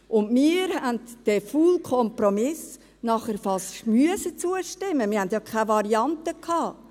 Danach haben wir dem faulen Kompromiss fast zustimmen müssen, wir hatten ja keine Varianten.